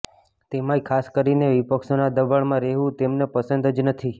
તેમાંય ખાસ કરીને વિપક્ષોના દબાણમાં રહેવું તેમને પસંદ જ નથી